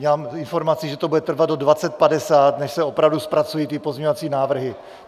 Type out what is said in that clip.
Mám informaci, že to bude trvat do 20.50, než se opravdu zpracují ty pozměňovací návrhy.